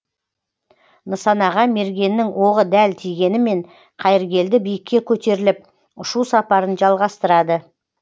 нысанаға мергеннің оғы дәл тигенімен қайыргелді биікке көтеріліп ұшу сапарын жалғастырады